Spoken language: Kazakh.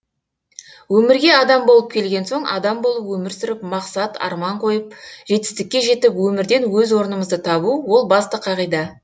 өмірге адам болып келген соң адам болып өмір сүріп мақсат арман қойып жетістікке жетіп өмірден өз орнымызды табу ол басты қағида